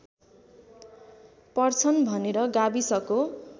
पर्छन् भनेर गाविसको